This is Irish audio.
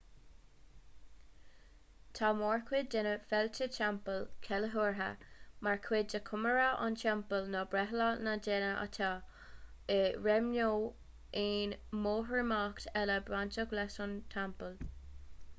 tá mórchuid de na féilte teampaill ceiliúrtha mar chuid de chomóradh an teampaill nó breithlá na ndéithe atá i réim nó aon mhórimeacht eile bainteach leis an teampall